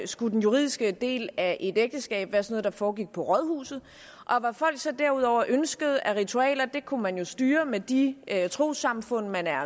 skulle den juridiske del af et ægteskab være sådan foregik på rådhuset og hvad folk så derudover ønskede af ritualer kunne man jo styre med de trossamfund man er